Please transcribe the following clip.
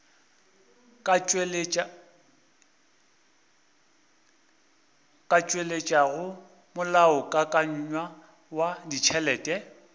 ka tšweletšago molaokakanywa wa ditšhelete